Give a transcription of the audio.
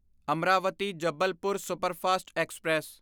Amaravati Jabalpur superfast express